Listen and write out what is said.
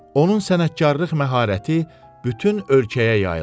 Onun sənətkarlıq məharəti bütün ölkəyə yayılmışdı.